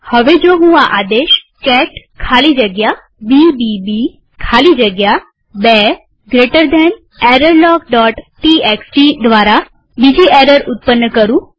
હવે જો હું આ આદેશ કેટ ખાલી જગ્યા બીબીબી ખાલી જગ્યા 2 જમણા ખૂણાવાળો કૌંસ errorlogટીએક્સટી દ્વારા બીજી એરર ઉત્પન્ન કરું